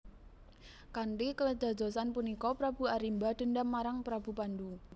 Kanthi kedadosan punika Prabu Arimba dendam marang Prabu Pandu